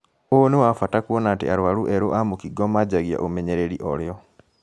Ũũ nĩ wa bata kuona atĩ arwaru eerũ a mũkingo manjagia ũmenyereri oorĩo